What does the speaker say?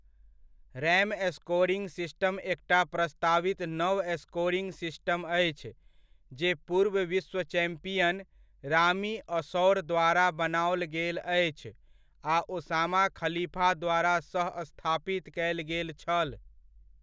RAM scoring system एकटा प्रस्तावित नव स्कोरिंग सिस्टम अछि जे पूर्व विश्व चैम्पियन, रामी अशौर द्वारा बनाओल गेल अछि आ ओसामा खलीफा द्वारा सह स्थापित कयल गेल छल।